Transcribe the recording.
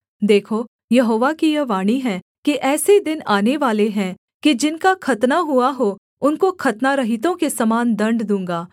देखो यहोवा की यह वाणी है कि ऐसे दिन आनेवाले हैं कि जिनका खतना हुआ हो उनको खतनारहितों के समान दण्ड दूँगा